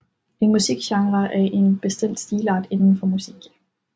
En musikgenre er en bestemt stilart indenfor musik